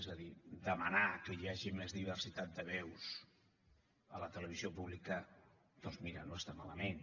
és a dir demanar que hi hagi més diversitat de veus a la televisió pública doncs mira no està malament